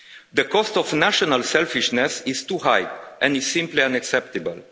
The cost of national selfishness is too high, and it is simply unacceptable.